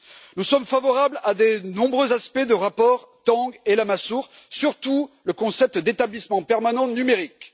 Nous sommes favorables à de nombreux aspects des rapports Tang et Lamassoure, surtout sur le concept d'établissement permanent numérique.